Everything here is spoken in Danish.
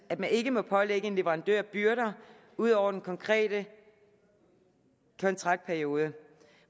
at man ikke må pålægge en leverandør byrder ud over den konkrete kontraktperiode